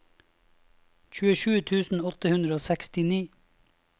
trettisju tusen åtte hundre og sekstini